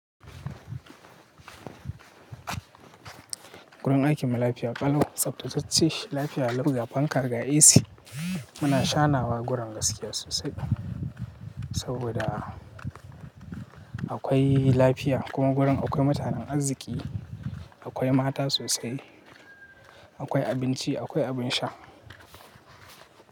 Gurin aikin mu lafiya ƙalau, tsaftace lafiya lau ga fankar ga AC. Muna shanawa gurin gaskiya sosai saboda akwai lafiya kuma gurin akwai mutanen arziki, akwai mata sosai, akwai abinci, akwai abin sha.